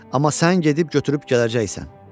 Amma sən gedib götürüb gələcəksən.